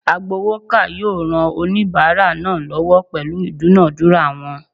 Agbowoka yoo ran onibara naa lowo pelu idunadura won